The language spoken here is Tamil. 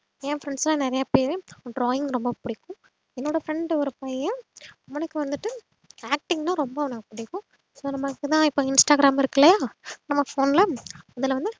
ஏன் friends ல நறையபேர் drawing ரொம்ப புடிக்கும் என்னோட friend ஒரு பையன் அவனுக்கு வந்துட்டு acting னா ரொம்ப அவனுக்கு புடிக்கும் so நம்ம இப்பொதா இன்ஸ்டாகிராம் இருக்குல நம்ம phone ல அதுல வந்து